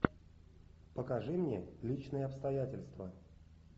покажи мне личные обстоятельства